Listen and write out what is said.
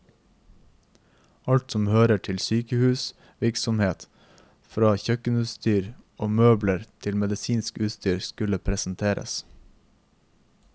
Alt som hører til sykehusets virksomhet, fra kjøkkenutstyr og møbler til medisinsk utstyr, skulle presenteres.